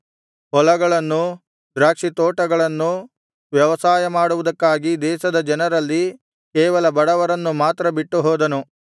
ಹೊಲಗಳನ್ನೂ ದ್ರಾಕ್ಷಿ ತೋಟಗಳನ್ನೂ ವ್ಯವಸಾಯಮಾಡುವುದಕ್ಕಾಗಿ ದೇಶದ ಜನರಲ್ಲಿ ಕೇವಲ ಬಡವರನ್ನು ಮಾತ್ರ ಬಿಟ್ಟುಹೋದನು